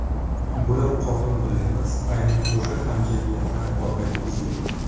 Bular qonun bilan emas, aynan o‘sha hamjamiyatlar orqali tuzilgan.